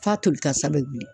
F'a toli kasa bɛ bilen.